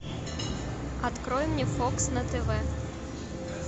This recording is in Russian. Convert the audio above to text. открой мне фокс на тв